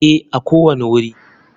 Ee, a kowane wuri.